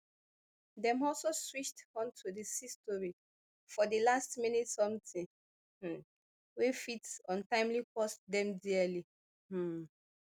dem also switched on to di sea story for di last minute something um wey fit ultimately cost dem dearly um